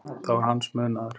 Það var hans munaður.